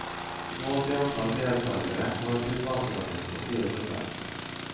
Målt i antall deltagere var tilbakegangen på fire prosent.